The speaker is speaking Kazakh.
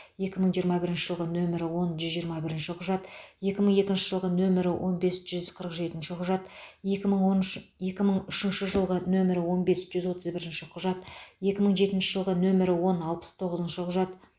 екі мың жиырма бірінші жылғы нөмірі он жүз жиырма бірінші құжат екі мың екінші жылғы нөмірі он бес жүз қырық жетінші құжат екі мың он үш екі мың үшінші жылғы нөмірі он бес жүз отыз бірінші құжат екі мың жетінші жылғы нөмірі он алпыс тоғызыншы құжат